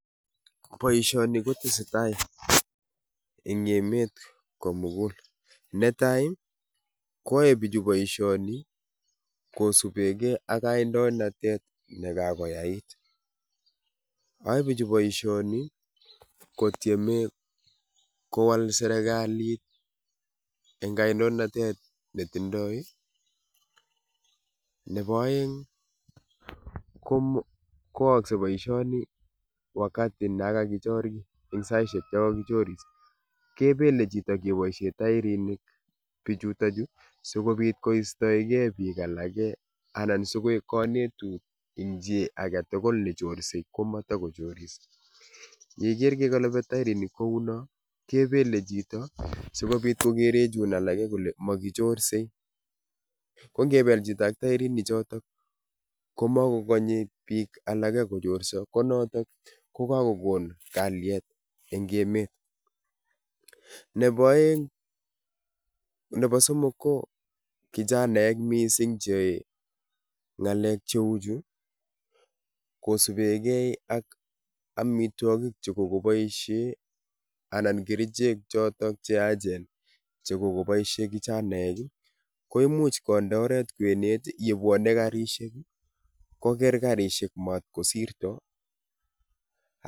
Boisioni kotesetai eng' emet komugul. Netai, kwae bichu boisioni kosubegei ak kandoinatet ne kakoyait. Ae bichu boisioni, kotiemei kowal serekalit engaindoinatet netindoi ii. Nebo aeng', komo koakse boisione wakati na kagichor kiy eng' saisiek cho kagichoris, kebele chito keboisie tairinik bichutachu sigobit koistoegei biik alake anan sigoek kanetut eng' chi age tugul ne chorsei komatakochoris. Yeiger ke kalabi tairinik kouno, kebele chito sikobit kogere chun alage kole makichorsei. Ko ngebel chito ak tairinik chotok komagokanye biik alake kochorso, konotok ko kakogon kalyet eng' emet. Nebo aeng' nebo somok ko, kichanaek missing cheae ng'alek cheu chu kosubegei ak amitwogik che kogoboisie anan kerichek chotok cheyachen che kogoboisie kichanaek ii, koimuch konde oeret kwenet yebwone garishek koger garishek mat kosirto a